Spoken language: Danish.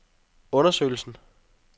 undersøgelsen